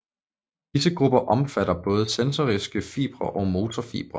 Disse grupper omfatter både sensoriske fibre og motorfibre